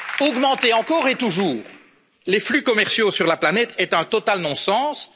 Augmenter encore et toujours les flux commerciaux sur la planète est un non sens absolu.